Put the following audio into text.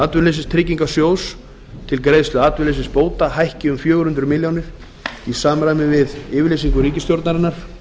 atvinnuleysistryggingasjóðs til greiðslu atvinnuleysisbóta hækki um fjögur hundruð milljóna króna í samræmi við yfirlýsingu ríkisstjórnarinnar